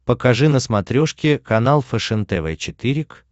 покажи на смотрешке канал фэшен тв четыре к